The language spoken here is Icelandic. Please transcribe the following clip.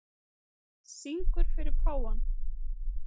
Syngur fyrir páfann